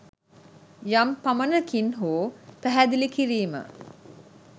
යම් පමණකින් හෝ පැහැදිළි කිරීම